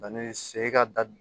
se ka da d